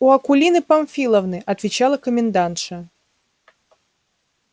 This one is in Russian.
у акулины памфиловны отвечала комендантша